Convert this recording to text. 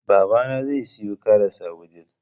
babana zai siyo karas a wudil